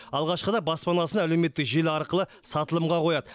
алғашқыда баспанасына әлеуметтік желі арқылы сатылымға қояды